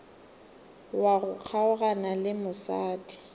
wa go kgaogana le mosadi